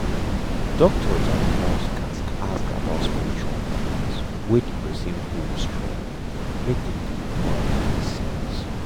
doctor and nurse gatz ask about spiritual things wey the person hold strong make dem do am with sense.